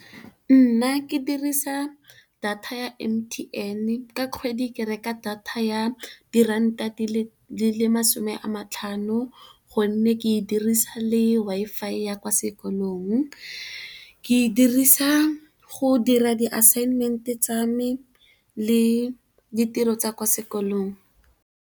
Nna ke dirisa data ya M_T_N ka kgwedi ke reka data ya diranta di le masome a matlhano. Gonne, ke e dirisa le Wi-Fi ya kwa sekolong, ke e dirisa go dira di assignment tsa me le ditiro tsa kwa sekolong.